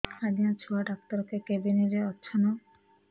ଆଜ୍ଞା ଛୁଆ ଡାକ୍ତର କେ କେବିନ୍ ରେ ଅଛନ୍